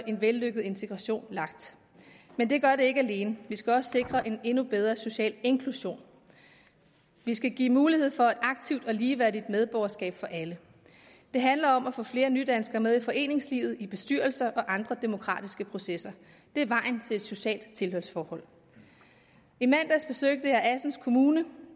en vellykket integration lagt men det gør det ikke alene vi skal også sikre en endnu bedre social inklusion vi skal give mulighed for et aktivt og ligeværdigt medborgerskab for alle det handler om at få flere nydanskere med i foreningslivet i bestyrelsesarbejde og andre demokratiske processer det er vejen til et socialt tilhørsforhold i mandags besøgte jeg assens kommune